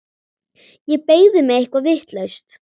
Ég beygði mig eitthvað vitlaust.